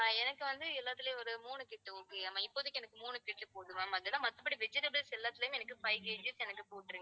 ஆஹ் எனக்கு வந்து எல்லாத்துலயும் ஒரு மூணு கட்டு okay ஆ இப்போதைக்கு எனக்கு மூணு கட்டு போதும் ma'am மத்தபடி vegetables எல்லாத்துலயும் எனக்கு five KG எனக்கு போட்டிருங்க.